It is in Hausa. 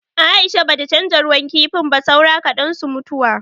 Aisha bata canza ruwan kifin ba, saura kaɗan su mutuwa.